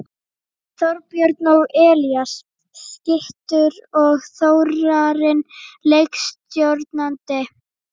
Þorbjörn og Elías skyttur og Þórarinn leikstjórnandi!